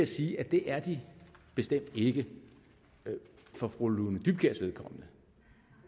sige at det er de bestemt ikke for fru lone dybkjærs vedkommende